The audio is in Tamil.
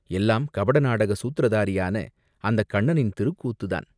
எல்லாம் கபட நாடக சூத்திரதாரியான அந்தக் கண்ணனின் திருக்கூத்துத்தான்!